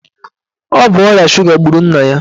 Ọ bụ ọrịa suga gburu nna ya.